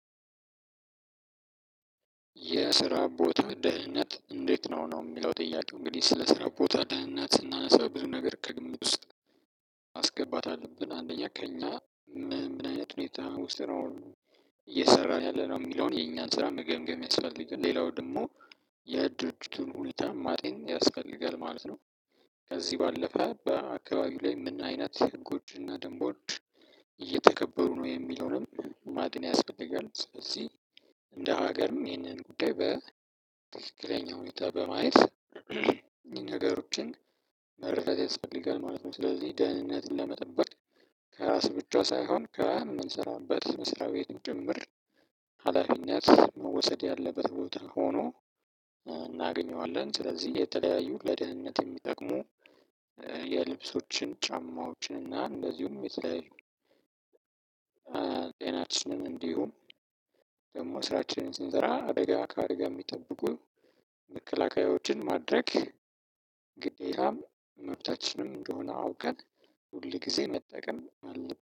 የስራ ቦታ ደህንነት እንዴት ነው ነው የሚለው ጥያቄው እንግዲህ ስለ ስራ ቦታ ደህንነት ስናነሳ ብዙ ነገር ከግምት ውስጥ ማስገባት አለብን አንደኛ ከእኛ ምን ምን አይነት ሁኔታ ውስጥ ነው? እየሰራን ያለነው የሚለውን የኛን ስራ መገምገም ያስፈልጋል ሌላው ደግሞ የድርጅቱን ሁኔታ ማጤን ያስፈልጋል ማለት ነው። ከዚህ ባለፈ በአካባቢው ላይ ምን አይነት ህጎችና ደንቦች እየተከበሩ ነው የሚለውንም ማጤን ያስፈልጋል። ስለዚህ እንደ ሀገርም ይህንን ጉዳይ በትክክለኛ ሁኔታ በማየት እኒህን ነገሮችን መረዳት ያስፈልጋል ማለት ነው። ስለዚህ ደህንነትን ለመጠበቅ ከራስ ብቻ ሳይሆን ከምንሰራበት መስሪያ ቤትም ጭምር ሀላፊነት መወሰድ ያለበት ቦታ ሆኖ እናገኘዋለን። ስለዚህ የተለያዩ ለደህንነት የሚጠቅሙ የልብሶችን ጫማዎችን እና እንደዚሁም የተለያዩ ጤናችንን እንዲሁም ደግሞ ስራችንን ስንሰራ አደጋ ከአደጋ የሚጠብቁ መከላከያዎችን ማድረግ። ግዴታም መብታችንም እንደሆነ አውቀን ሁል ጊዜ መጠቀም አለብን